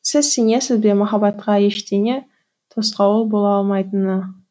сіз сенесіз бе махаббатқа ештеңе тосқауыл бола алмайтынына